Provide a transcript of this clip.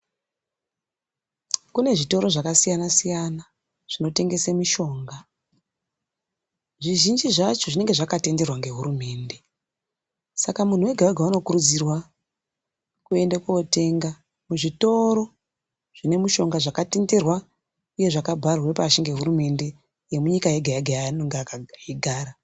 Kune zvitoro zvakasiyana-siyana zvinotengese mishonga zvizhinji zvacho zvononga zvakatenderwa ngehurumende. Saka muntu vega-vega unokurudzirwa koende kotenga muzvitoro zvine mishonga zvakatenderwa nezvakabharwe pashi nehurumende, yemunyika yega-yega yaanenge eigara.